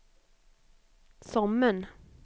Sommen